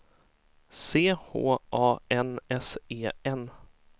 C H A N S E N